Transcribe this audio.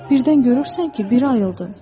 Birdən görürsən ki, biri ayıldı.